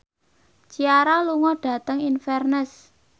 Ciara lunga dhateng Inverness